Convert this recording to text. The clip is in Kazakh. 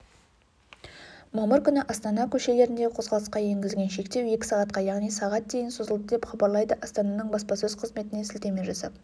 мамыр күні астана көшелеріндегі қозғалысқа енгізілген шектеу екі сағатқа яғни сағат дейін созылды деп хабарлайды астананың баспасөз қызметіне сілтеме жасап